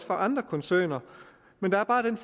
for andre koncerner men der er bare den